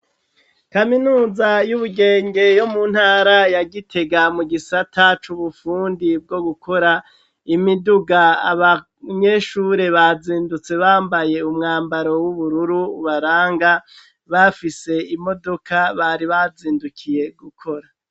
Kaminuza y'ubugenge yo mu ntara yagitega mu gisata c'ubupfundi bwo gukora imiduga abanyeshure bazindutse bambaye umwambaro w'ubururu ubaranga bafise imodoka bari bazindukiye gukora.